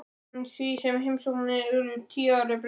En eftir því sem heimsóknirnar urðu tíðari breyttist þetta.